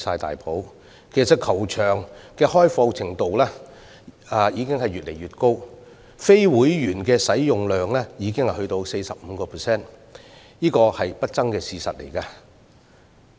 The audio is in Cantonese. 事實上，球場的開放程度已越來越高，非會員的使用量已達 45%， 是不爭的事實。